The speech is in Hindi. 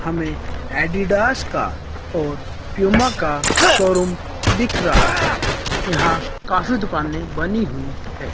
हमें एडिडास का और पूमा का शोरूम दिख रहा है यहां काफी दुकानें बनी हुई हैं।